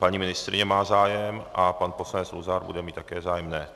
Paní ministryně má zájem a pan poslanec Luzar bude mít také zájem?